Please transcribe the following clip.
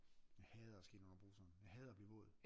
Jeg hader at skal ind under bruseren jeg hader at blive våd